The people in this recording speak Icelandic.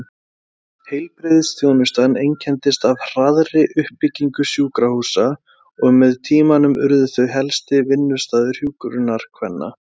Heilbrigðisþjónustan einkenndist af hraðri uppbyggingu sjúkrahúsa og með tímanum urðu þau helsti vinnustaður hjúkrunarkvenna.